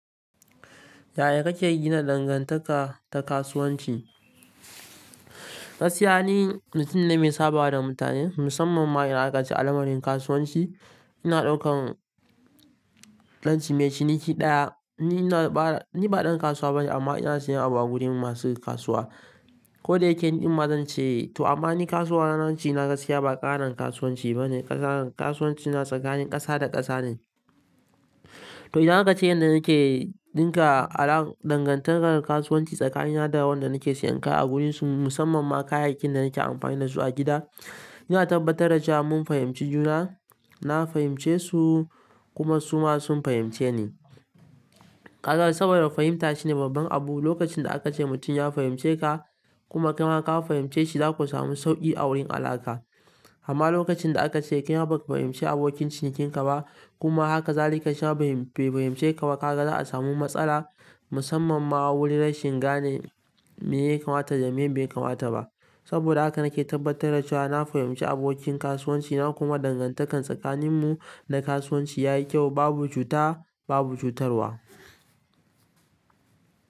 Yaya kake gina dangantaka ta kasuwanci? Gaskiya ni mutum ne mai sabawa da mutane musamman ma idan aka ce alamarin kasuwanci. Ina ɗaukan ɗan cini me ciniki ɗaya. Ni ba ɗan kasuwa bane amma ina sayan abu a gurin masu kasuwa. Ko da yake ni ɗimma zan ce to amma ni kasuwanci na, gaskiya ba ƙarin kasuwanci bane. Kasuwanci na tsakanin ƙasa da ƙasa ne. To idan aka ce yanda nake ɗinka al'an dangantakar kasuwanci tsakanina da wanda nake sayan kaya a wurin su musamman ma kayayyakin da nake amfani da su a gida, ina tabbatar da cewa mun fahimci juna. Na fahimce su kuma suma sun fahimce ni. Kaga saboda fahimta shine babban abu. Lokacin da aka ce mutum ya fahimce ka kuma kai ma ka fahimce shi za ku samu sauki a wurin alaƙa. Amma lokacin da aka ce kai ma ba ka fahimci abokin cinikinka ba kuma haka zalika shi ma bai fahimce ka ba kaga za a samu matsala musamman ma wurin rashin gane me ya kamata da me bai kamata ba. Saboda haka nake tabbatar da cewa na fahimci abokin kasuwanci na kuma dangantakar tsakaninmu da kasuwanci yayi kyau babu cuta babu cutarwa.